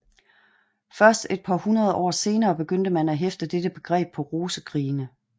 Først et par hundrede år senere begyndte man at hæfte dette begreb på rosekrigene